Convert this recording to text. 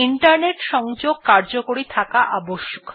internet সংযোগ কার্যকরী থাকা প্রয়োজন